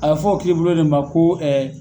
A bɛ fɔ o kiiribulon de ma ko